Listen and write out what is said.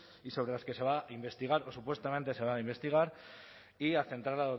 y sobre las que se va a investigar o supuestamente se va a investigar y a centrar